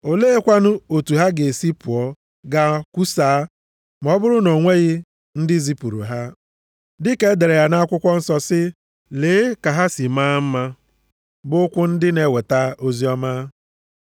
Oleekwanụ otu ha ga-esi pụọ gaa kwusaa, ma ọ bụrụ na o nweghị ndị zipụrụ ha? Dịka e dere ya nʼakwụkwọ nsọ, sị, “Lee, ka ha si maa mma bụ ụkwụ ndị na-eweta oziọma.” + 10:15 \+xt Aịz 52:7\+xt*